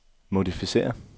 modificér